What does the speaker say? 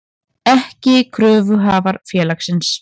ekki kröfuhafar félagsins.